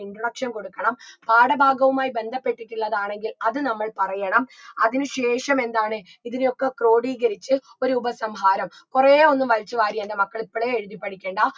introduction കൊടുക്കണം പാഠഭാഗവുമായ് ബന്ധപ്പെട്ടിട്ടുള്ളതാണെങ്കിൽ അത് നമ്മൾ പറയണം അതിന് ശേഷമെന്താണ് ഇതിനെയൊക്കെ ക്രോഡീകരിച്ച് ഒരു ഉപസംഹാരം കുറേയൊന്നും വലിച്ചുവാരി എൻറെ മക്കള് ഇപ്പളെ എഴുതി പഠിക്കണ്ട